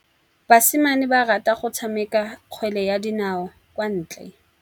Basimane ba rata go tshameka kgwele ya dinaô kwa ntle.